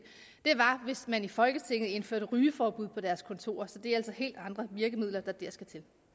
var hvis man i folketinget indførte rygeforbud på deres kontorer så det er altså helt andre virkemidler der dér skal